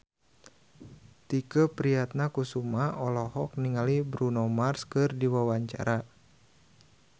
Tike Priatnakusuma olohok ningali Bruno Mars keur diwawancara